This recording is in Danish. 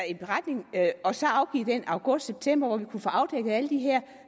en beretning og så afgive den i august eller september hvor vi kunne få afdækket alle de her